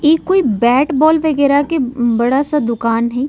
इ कोई bat - ball वगेरा के मम बड़ा-सा दुकान हे।